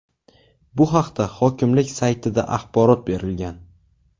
Bu haqda hokimlik saytida axborot berilgan .